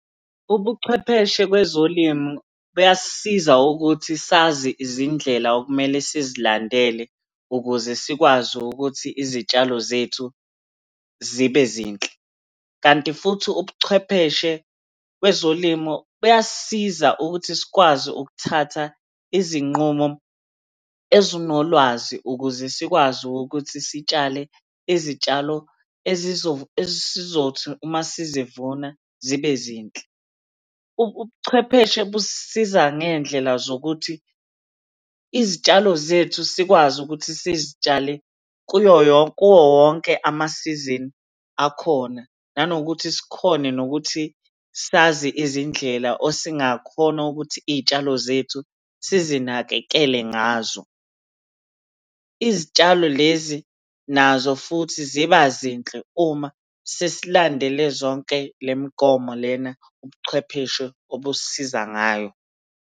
Ubuchwepheshe kwezolimu buyasisiza ukuthi sazi izindlela okumele sizilandele ukuze sikwazi ukuthi izitshalo zethu zibe zinhle, kanti futhi ubuchwepheshe kwezolimo kuyasisiza ukuthi sikwazi ukuthatha izinqumo ezinolwazi ukuze sikwazi ukuthi sitshale izitshalo esizothi uma sizivuna zibe zinhle. Ubuchwepheshe busisiza ngey'ndlela zokuthi izitshalo zethu sikwazi ukuthi sizitshalele kuyo kuwo wonke ama-season akhona, nanokuthi sikhone nokuthi sazi izindlela osingakhona ukuthi iy'tshalo zethu sizinakekele ngazo. Izitshalo lezi nazo futhi ziba zinhle uma sesilandele zonke le migomo lena ubuchwepheshe obusisiza ngayo.